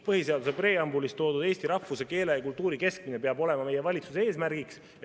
Põhiseaduse preambulis toodud eesti rahvuse, keele ja kultuuri kestmine peab olema meie valitsuse eesmärgiks.